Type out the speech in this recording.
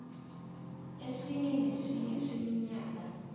esinye nesinye seminyaka